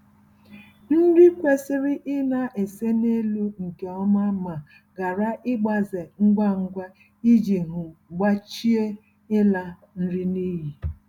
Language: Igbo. Nri kwesịrị ịna-ese n'elu nke ọma ma ghara ịgbaze ngwa ngwa iji um gbochie ịla nri n'iyi